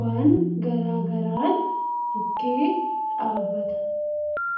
waan garaa garaan bukkee dhaabbata.